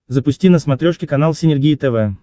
запусти на смотрешке канал синергия тв